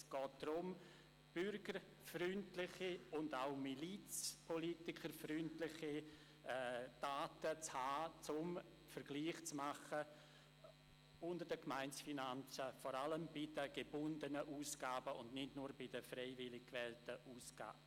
Es geht darum, bürgerfreundliche und milizpolitikerfreundliche Daten zu haben, um Vergleiche zwischen Gemeindefinanzen anstellen zu können, vor allem bei den gebundenen Ausgaben und nicht nur bei den freiwillig ausgewählten Ausgaben.